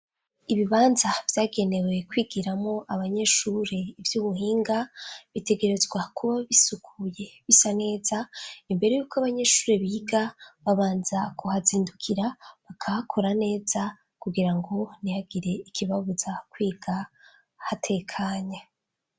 Ibibanza vyagenewe kwigiramwo abanyeshuri ivy'ubuhinga, bitegerezwa kuba bisukuye bisa neza. Imbere y'uko abanyeshuri biga, babanza kuhazindukira bakahakora neza kugira ngo ntihagire ikibabuza kwiga hatekanya.